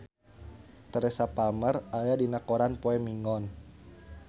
Teresa Palmer aya dina koran poe Minggon